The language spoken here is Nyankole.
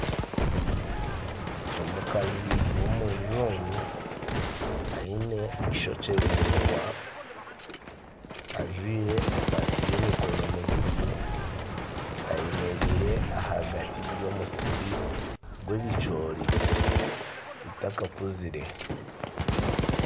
Omukazi w'omujungu aine eishokye riraingwa ajwaire esaati y'emikono miguufu ayemereire ahagati y'omusiri gw'ebicoori bitakakuzire.